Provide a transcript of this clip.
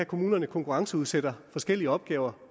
kommunerne konkurrenceudsætter forskellige opgaver